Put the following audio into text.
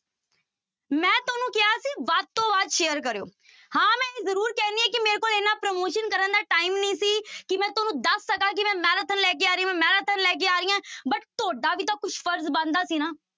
ਮੈਂ ਤੁਹਾਨੂੰ ਕਿਹਾ ਸੀ ਵੱਧ ਤੋਂ ਵੱਧ share ਕਰਿਓ, ਹਾਂ ਮੈਂ ਇਹ ਜ਼ਰੂਰ ਕਹਿੰਦੀ ਹਾਂ ਕਿ ਮੇਰੇ ਕੋਲ ਇੰਨਾ promotion ਕਰਨ ਦਾ time ਨੀ ਸੀ ਕਿ ਮੈਂ ਤੁਹਾਨੂੰ ਦੱਸ ਸਕਾਂ ਕਿ ਮੈਂ marathon ਲੈ ਕੇ ਆ ਰਹੀ ਹਾਂ, ਮੈਂ marathon ਲੈ ਕੇ ਆ ਰਹੀ ਹਾਂ but ਤੁਹਾਡਾ ਵੀ ਤਾਂ ਕੁਛ ਫ਼ਰਜ਼ ਬਣਦਾ ਸੀ ਨਾ।